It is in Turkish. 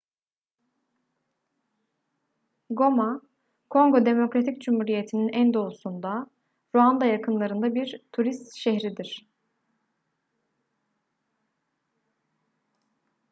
goma kongo demokratik cumhuriyeti'nin en doğusunda ruanda yakınlarında bir turist şehridir